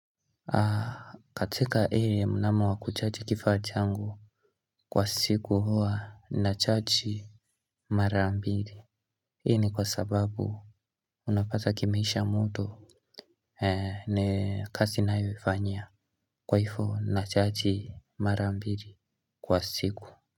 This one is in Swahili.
Katika hii mnamo wa kuchaji kifaa changu kwa siku huwa nachaji mara mbili. Hii ni kwa sababu unapata kimeisha moto Nikazi ninayoifanyia kwa hivo na chaji mara mbili kwa siku.